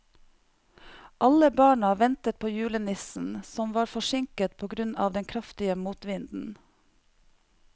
Alle barna ventet på julenissen, som var forsinket på grunn av den kraftige motvinden.